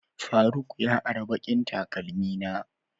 faruk ya ara ɓaƙin taƙalmi na.